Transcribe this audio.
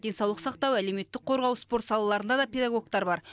денсаулық сақтау әлеуметтік қорғау спорт салаларында да педагогтар бар